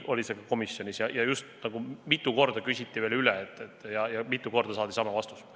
Seda küsiti mitu korda üle ja mitu korda saadi sama vastus.